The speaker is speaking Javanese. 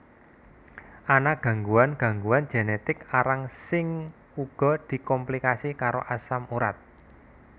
Ana gangguan gangguan genetik arang sing uga dikomplikasi karo asam urat